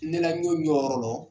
Ne la n jɔ n jɔyɔrɔ lɔ